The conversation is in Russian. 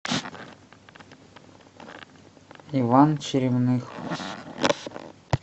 иван черемных